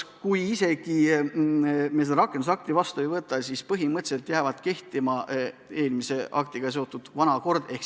Kui me seda rakendusakti heaks ei kiida, siis põhimõtteliselt jääb kehtima eelmise määrusega kehtestatud kord.